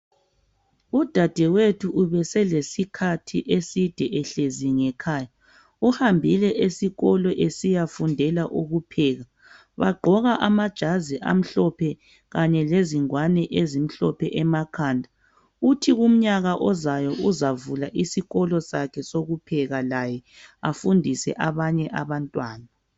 Udadewethu ubesele sikhathi eside ehlezi ngekhaya uhambile esikolo esiyafundela ukupheka bagqoka amajazi amhlophe kanye lezingwane ezimhlophe emakhanda uthi kuminyaka ozayo uzavula isikolo sakhe sokupheka laye afundise abanye abantwana.